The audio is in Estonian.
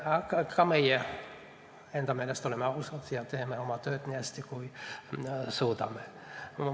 Ka meie oleme enda meelest ausad ja teeme oma tööd nii hästi, kui suudame.